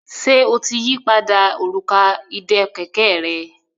Ṣe o tí yí pàdà Òrùka ìdè kẹ̀kẹ́ rẹ?